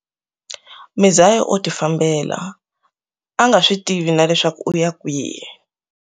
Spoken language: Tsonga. Mizaya o tifambela, a a nga switivi na leswaku u ya kwihi.